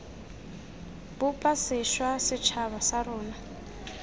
bopa sešwa setšhaba sa rona